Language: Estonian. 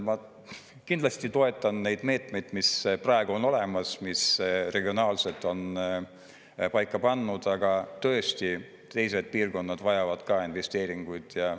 Ma kindlasti toetan neid meetmeid, mis praegu on olemas, mis regionaalselt on paika pandud, aga tõesti teised piirkonnad vajavad ka investeeringuid.